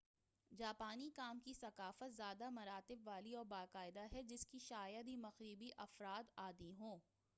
جاپانی کام کی ثقافت زیادہ مراتب والی اور باقاعدہ ہے جس کے شاید ہی مغربی افراد عادی ہوں